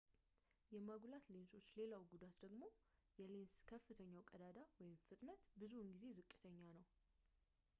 የማጉላት ሌንሶች ሌላው ጉዳት ደግሞ የሌንስ ከፍተኛው ቀዳዳ ፍጥነት ብዙውን ጊዜ ዝቅተኛ ነው